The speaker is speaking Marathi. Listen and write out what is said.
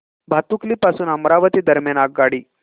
भातुकली पासून अमरावती दरम्यान आगगाडी